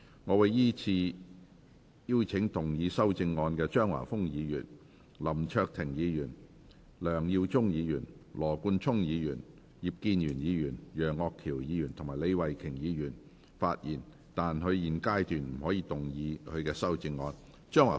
我會依次請要動議修正案的張華峰議員、林卓廷議員、梁耀忠議員、羅冠聰議員、葉建源議員、楊岳橋議員及李慧琼議員發言；但他們在現階段不可動議修正案。